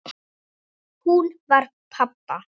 Hún var padda.